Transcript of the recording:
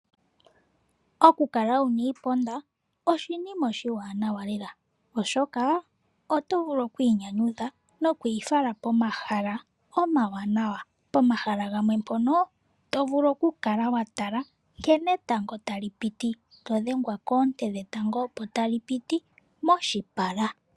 Okukala wuna iiponda oshinima oshiwanawa lela oshoka oto vulu okwiinyanyudha nokwiifala pomahala omwaanawa, pomahala gamwe mpono to vulu oku kala wa tala etango nkene tali piti todhengwa koonte dhetango opo tali piti moshipala.